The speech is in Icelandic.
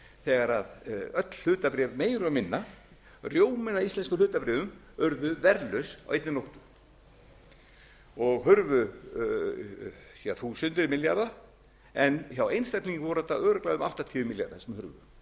þegar öll hlutabréf meira og minna rjóminn af íslenskum hlutabréfum urðu verðlaus á einni nóttu og hurfu þúsundir milljarða en hjá einstaklingum voru þetta örugglega um áttatíu milljarðar sem hurfu hjá